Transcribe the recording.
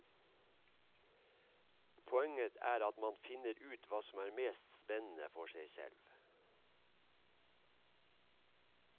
Poenget er at man finner ut hva som er mest spennende for seg selv.